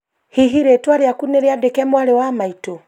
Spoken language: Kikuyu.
hihi rĩtwa rĩaku nĩriandĩke mwarĩ wa maitũ?